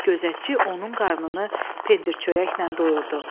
Gözətçi onun qarnını pendir-çörəklə doyurdu.